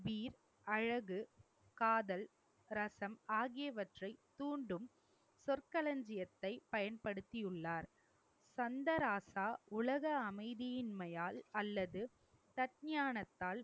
அழகு, காதல், ரசம் ஆகியவற்றை தூண்டும் சொற்களஞ்சியத்தை பயன்படுத்தியுள்ளார். சந்தராசா உலக அமைதியின்மையால் அல்லது தக்ஞானத்தால்